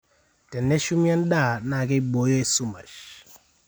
teneshumi endaa naa keibooyo esumash